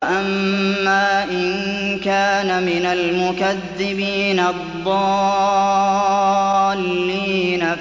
وَأَمَّا إِن كَانَ مِنَ الْمُكَذِّبِينَ الضَّالِّينَ